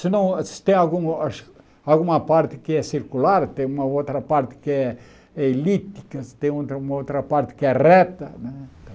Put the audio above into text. Se não se tem alguma acho alguma parte que é circular, tem uma outra parte que é elíptica, se tem uma outra parte que é reta